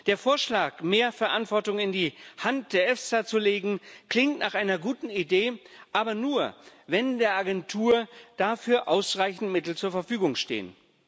Der Vorschlag, mehr Verantwortung in die Hand der EFSA zu legen, klingt nach einer guten Idee Aber nur, wenn der Agentur dafür ausreichend Mittel zur Verfügung stehen.